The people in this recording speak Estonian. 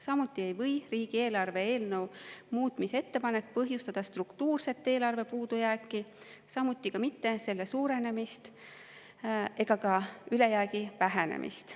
Samuti ei või riigieelarve eelnõu muutmise ettepanek põhjustada struktuurset eelarve puudujääki, ka mitte selle suurenemist ega ülejäägi vähenemist.